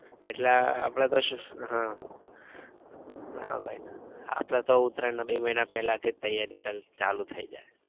એટલે અપડે તો શું ઉહ ના ભાઈ ના અપડે તો ઉત્તરાયણ ના બે મહિના પેલા થી જ તૈયારી ચાલુ ચાલુ થઇ જાય.